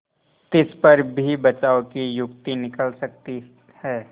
तिस पर भी बचाव की युक्ति निकल सकती है